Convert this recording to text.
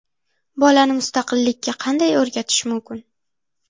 Bolani mustaqillikka qanday o‘rgatish mumkin?